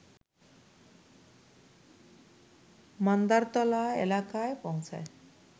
মান্দারতলা এলাকায় পৌঁছায়